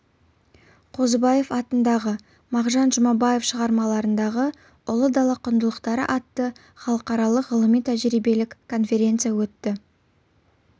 қозыбаев атындағы мағжан жұмабаев шығармаларындағы ұлы дала құндылықтары атты халықаралық ғылыми-тәжірибелік конференция өтті